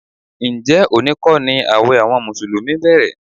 Ǹjẹ́ òní kọ́ ni ààwẹ̀ àwọn mùsùlùmí bẹ̀rẹ̀?